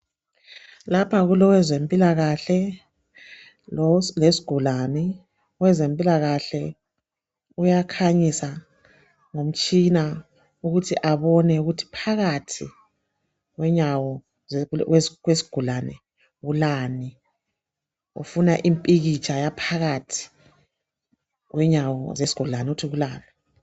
Lapha kulowezempilakahle lesigulane, owezempilakahle uyakhanyisa ngomtshina ukuthi abone ukuthi phakathi kwenyawo zesigulane kulani ufuna impikitsha yaphakathi kwenyawo zesigulane ukuthi kulani